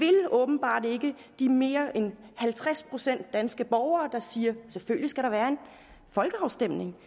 åbenbart ikke de mere end halvtreds procent danske borgere der siger at selvfølgelig skal være en folkeafstemning